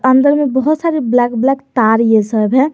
अंदर में बहोत सारे ब्लैक ब्लैक तार ये सब है।